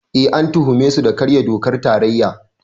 Eh, an tuhume su da karya dokar tarayya.